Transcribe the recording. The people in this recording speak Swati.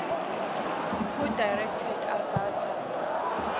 who directed avatar